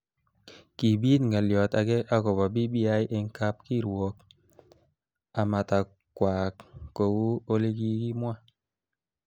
Kibit ngalyot ake akobo BBI eng kab kirwok amatakwaak kou olekikimwa.